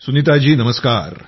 सुनीताजी नमस्कार